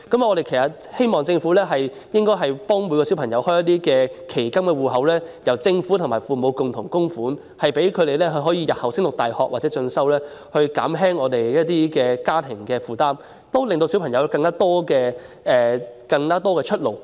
我們希望政府幫助所有學童開設期金戶口，由政府和父母共同供款，用於子女日後升讀大學或進修，減輕家庭負擔，也令學童有更多出路。